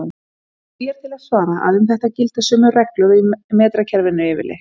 Því er til að svara að um þetta gilda sömu reglur og í metrakerfinu yfirleitt.